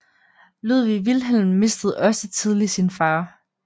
Ludwig Wilhelm mistede også tidligt sin far